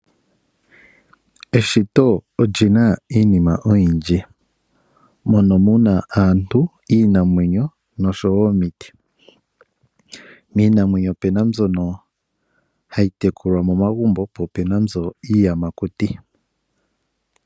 Eshito oli na iinima oyindji mono mu na aantu, iinamwenyo nosho woo omiti. Opu na iinamwenyo mbyoka hayi tekulwa momagumbo nosho woo iiyamakuti mbyoka hayi kala mokuti.